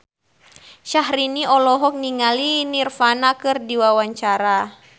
Syahrini olohok ningali Nirvana keur diwawancara